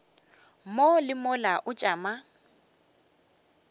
mo le mola o tšama